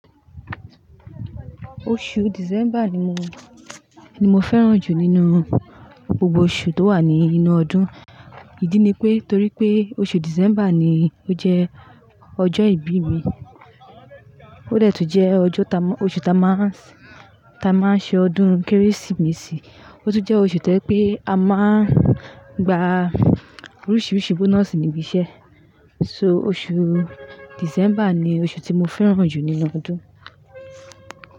Oṣù December ni mo, ni mo fẹ́ràn jù nínú gbogbo oṣù tó wà ní inú ọdún. Ìdí ni pé torí pé oṣù December ni ó jẹ́ ọjọ́ ìbí mi. Ó dẹ́ tún jẹ́ ọjọ́ ta-- oṣù ta máa ń, ta máa ń ṣe ọdún Kérésìmesì, ó tún jẹ́ oṣù to ẹ pé a máa ń gba oríṣiríṣi bonusi níbi iṣẹ́. So oṣù December ni oṣù tí mo fẹ́ràn jù nínú ọdún.